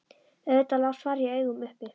Auðvitað lá svarið í augum uppi.